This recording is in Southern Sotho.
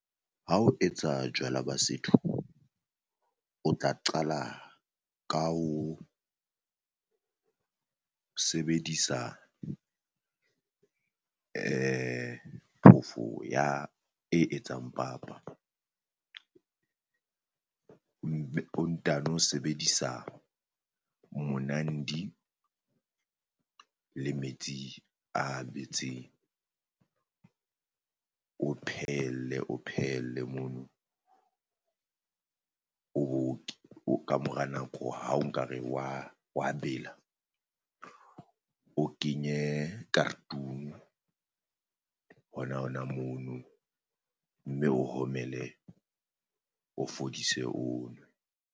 Ha o etsa jwala ba setho, o tla qala ka ho sebedisa phofo ya e etsang papa, o ntano sebedisa monandi le metsi a betseng. O phehelle o phehelle mono o bo kamora nako ha o nka re wa wa bela, o kenye hona hona mono mme o homele o fodise o nwe.